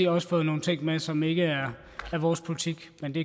også fået nogle ting med som ikke er vores politik men det